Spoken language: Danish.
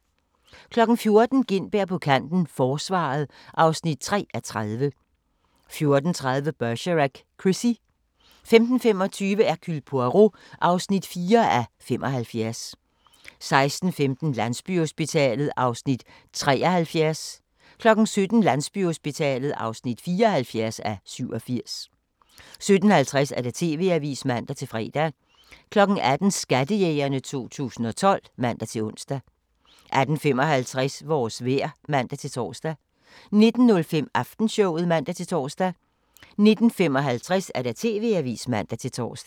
14:00: Gintberg på kanten - Forsvaret (3:30) 14:30: Bergerac: Chrissie 15:25: Hercule Poirot (4:75) 16:15: Landsbyhospitalet (73:87) 17:00: Landsbyhospitalet (74:87) 17:50: TV-avisen (man-fre) 18:00: Skattejægerne 2012 (man-ons) 18:55: Vores vejr (man-tor) 19:05: Aftenshowet (man-tor) 19:55: TV-avisen (man-tor)